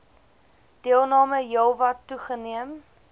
deelname heelwat toegeneem